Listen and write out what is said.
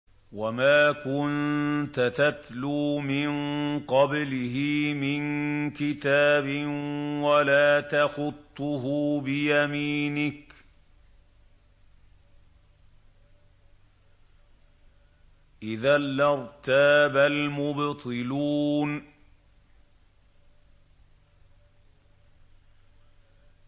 وَمَا كُنتَ تَتْلُو مِن قَبْلِهِ مِن كِتَابٍ وَلَا تَخُطُّهُ بِيَمِينِكَ ۖ إِذًا لَّارْتَابَ الْمُبْطِلُونَ